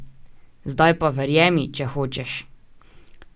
Zdaj pa verjemi, če hočeš!